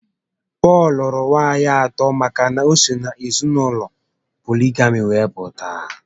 Pọl lụrụ nwaànyị atọ maka na o si n'ezinaụlọ poligami were pụta